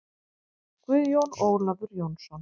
Guðjón Ólafur Jónsson